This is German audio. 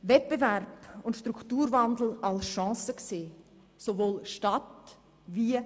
Wettbewerb und Strukturwandel müssen sowohl in der Stadt als auch auf dem Land als Chance gesehen werden.